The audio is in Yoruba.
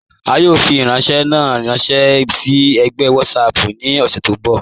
A yọ̀ fi ifiranṣẹ̀ na ranṣẹ si ẹ̀gbẹ WhatsApp ni ọṣẹ tó nbọ̀.